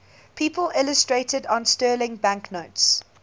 people illustrated on sterling banknotes